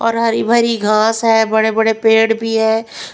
और हरी भरी घास है बड़े-बड़े पेड़ भी है।